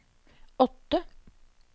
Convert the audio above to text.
åtte